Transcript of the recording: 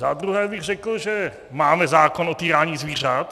Za druhé bych řekl, že máme zákon o týrání zvířat.